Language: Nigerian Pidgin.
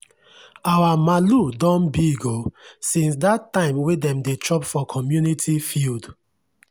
our malu don big oo since that time wey dem dey chop for community field.